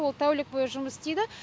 ол тәулік бойы жұмыс істейді